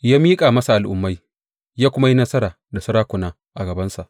Ya miƙa masa al’ummai ya kuma yi nasara da sarakuna a gabansa.